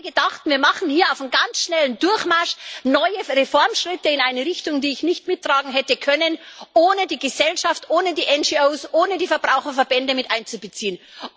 Einige dachten, wir machen hier auf dem ganz schnellen Durchmarsch neue Reformschritte in eine Richtung, die ich nicht mittragen hätte können, ohne die Gesellschaft, ohne die NGOs, ohne die Verbraucherverbände mit einzubeziehen.